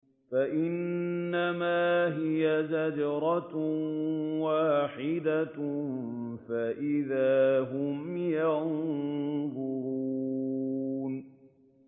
فَإِنَّمَا هِيَ زَجْرَةٌ وَاحِدَةٌ فَإِذَا هُمْ يَنظُرُونَ